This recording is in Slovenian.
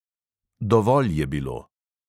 Dovolj je bilo.